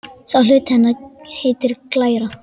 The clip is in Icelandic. Sá hluti hennar heitir glæra.